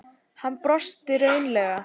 Hann brosti raunalega.